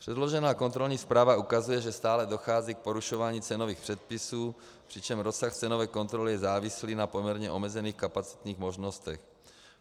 Předložená kontrolní zpráva ukazuje, že stále dochází k porušování cenových předpisů, přičemž rozsah cenové kontroly je závislý na poměrně omezených kapacitních možnostech.